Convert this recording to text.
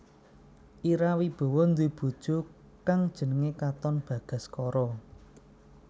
Ira Wibowo nduwe bojo kang jenengé Katon Bagaskara